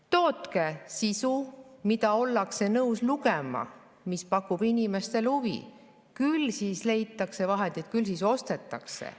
Tootke sisu, mida ollakse nõus lugema ja mis pakub inimestele huvi, küll siis leitakse ka vahendid, küll siis ostetakse.